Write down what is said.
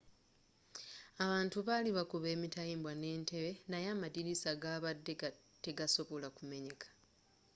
abantu bali bakuba emitayimbwa n'entebbe naye amadirisa gabadde tegasobola kumenyeka